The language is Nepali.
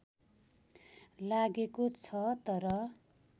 लागेको छ तर